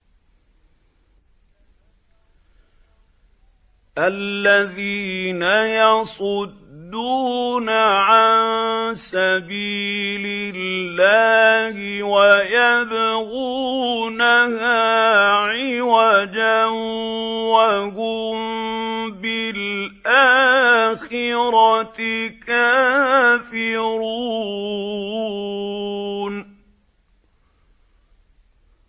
الَّذِينَ يَصُدُّونَ عَن سَبِيلِ اللَّهِ وَيَبْغُونَهَا عِوَجًا وَهُم بِالْآخِرَةِ كَافِرُونَ